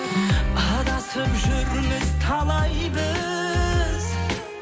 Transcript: адасып жүрміз талай біз